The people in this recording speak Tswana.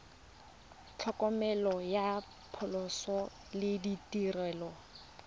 tlhokomelo ya phatlhoso le ditirelo